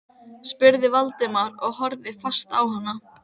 spurði Valdimar og horfði fast á hana.